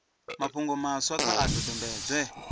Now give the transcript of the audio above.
mafhungo maswa kha a dodombedzwe